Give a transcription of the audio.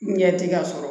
Ɲɛti ka sɔrɔ